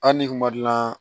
Hali ni kun ma gilan